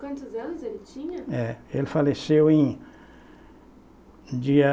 Quantos anos ele tinha? É, ele faleceu em dia